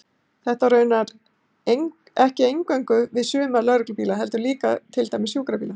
Þetta á raunar ekki eingöngu við um suma lögreglubíla, heldur líka til dæmis sjúkrabíla.